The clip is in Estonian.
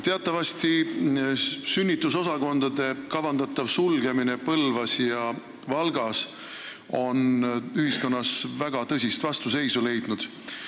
Teatavasti on sünnitusosakondade kavandatav sulgemine Põlvas ja Valgas ühiskonna väga tõsist vastuseisu leidnud.